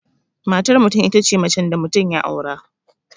Matar mutum itace macen da mutum ya aura